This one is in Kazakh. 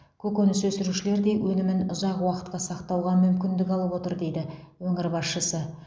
көкөніс өсірушілер де өнімін ұзақ уақытқа сақтауға мүмкіндік алып отыр дейді өңір басшысы